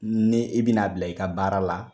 Ni i bi na bila i ka baara la